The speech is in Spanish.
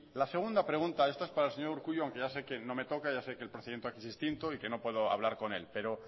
la segunda pregunta esta es para el señor urkullu aunque ya se que no me toca ya sé que el procedimiento aquí es distinto y que no puedo hablar con él pero